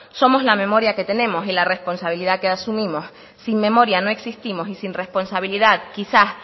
somos la memoria que tenemos y la responsabilidad que asumimos sin memoria no existimos y sin responsabilidad quizá